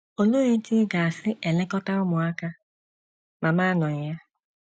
Olee otú ị ga - esi elekọta ụmụaka ma m anọghị ya?